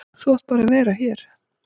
Þú átt bara að vera hér.